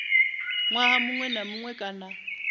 ṅwaha muṅwe na muṅwe kana